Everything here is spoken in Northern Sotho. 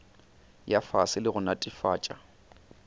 ya fase le go netefatša